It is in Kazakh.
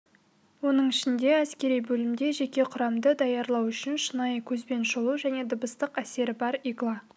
оның ішінде әскери бөлімде жеке құрамды даярлау үшін шынайы көзбен шолу және дыбыстық әсері бар игла